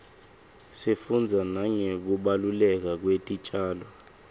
sifundza nangekubaluleka kwetitjalo